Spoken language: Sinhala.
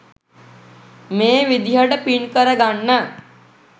මේ විදිහට පින් කර ගන්න